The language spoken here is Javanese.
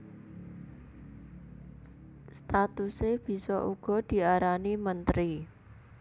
Statuse bisa uga diarani menteri